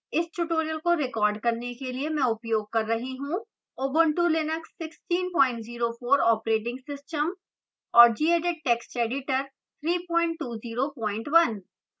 इस tutorial को record करने के लिए मैं उपयोग कर रही हूँ ubuntu linux 1604 operating system और gedit text editor 3201